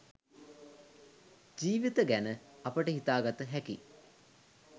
ජීවිත ගැන අපට හිතාගත හැකි.